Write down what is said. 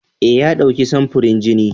Eh, ya ɗauki samfurin jini.